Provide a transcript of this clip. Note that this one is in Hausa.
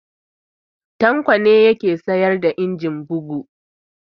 Tanko ne ya ke sayar da injin bugu